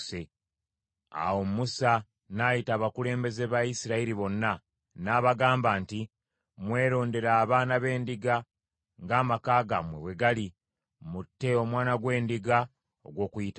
Awo Musa n’ayita abakulembeze ba Isirayiri bonna, n’abagamba nti, “Mwerondere abaana b’endiga ng’amaka gammwe bwe gali, mutte omwana gw’endiga ogw’Okuyitako.